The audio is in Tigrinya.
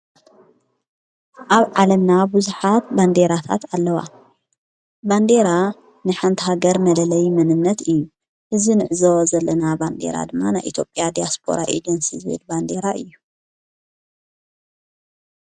ኣብ ዓለና ብዙኃት ባንዴራታት ኣለዋ ባንዴራ ንሓንቲ ሃገር መደለይ ምንምነት እዩ እዝ ንዕዞወዘለና ባንዴራ ድማና ኤቴጴያ ዲያስጶራ ኤጀንሲ ዝበድ ባንዴራ እዩ።